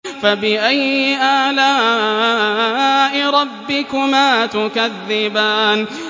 فَبِأَيِّ آلَاءِ رَبِّكُمَا تُكَذِّبَانِ